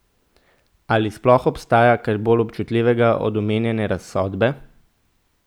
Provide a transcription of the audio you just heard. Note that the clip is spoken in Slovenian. Ali sploh obstaja kaj bolj občutljivega od omenjene razsodbe?